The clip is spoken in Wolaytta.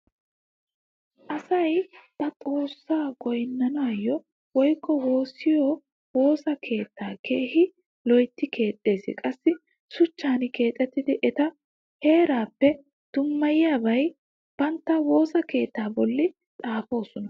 Asay ba xoossaa goynniyo woykko woossiyo woosa keettaa keehi loytti keexxees. Qassi shuchchan keexxidi eta haraappe dummayiyaba bantta woosa keettaa bollan xaafoosona.